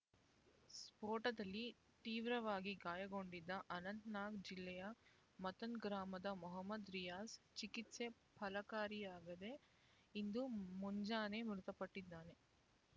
ಸ್ಫೋಟದಲ್ಲಿ ತೀವ್ರವಾಗಿ ಗಾಯಗೊಂಡಿದ್ದ ಅನಂತ್‌ನಾಗ್ ಜಿಲ್ಲೆಯ ಮತ್ತನ್‌ ಗ್ರಾಮದ ಮೊಹ್ಮದ್ ರಿಯಾಜ್ ಚಿಕಿತ್ಸೆ ಫಲಕಾರಿಯಾಗದೆ ಇಂದು ಮುಂಜಾನೆ ಮೃತಪಟ್ಟಿದ್ದಾನೆ